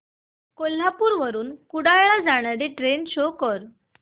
कोल्हापूर वरून कुडाळ ला जाणारी ट्रेन शो कर